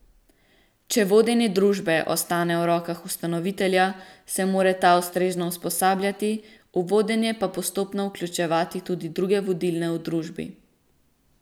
Če vodenje družbe ostane v rokah ustanovitelja, se mora ta ustrezno usposabljati, v vodenje pa postopno vključevati tudi druge vodilne v družbi.